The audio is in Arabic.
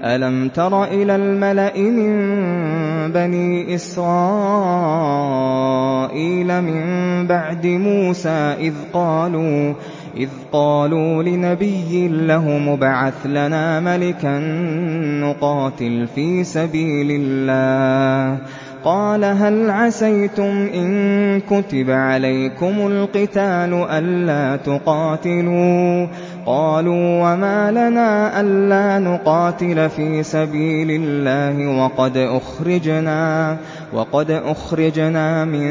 أَلَمْ تَرَ إِلَى الْمَلَإِ مِن بَنِي إِسْرَائِيلَ مِن بَعْدِ مُوسَىٰ إِذْ قَالُوا لِنَبِيٍّ لَّهُمُ ابْعَثْ لَنَا مَلِكًا نُّقَاتِلْ فِي سَبِيلِ اللَّهِ ۖ قَالَ هَلْ عَسَيْتُمْ إِن كُتِبَ عَلَيْكُمُ الْقِتَالُ أَلَّا تُقَاتِلُوا ۖ قَالُوا وَمَا لَنَا أَلَّا نُقَاتِلَ فِي سَبِيلِ اللَّهِ وَقَدْ أُخْرِجْنَا مِن